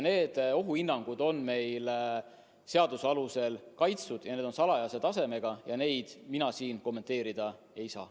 Need ohuhinnangud on meil seaduse alusel kaitstud, need on salajased ja neid mina siin kommenteerida ei saa.